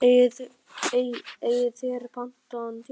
Eigið þér pantaðan tíma?